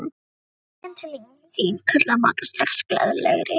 Ég kem til þín kallaði Magga strax glaðlegri.